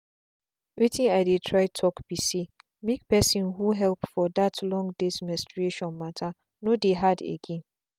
wetin i dey try talk be saymake person who help for that long days menstrutation matterno dey hard again.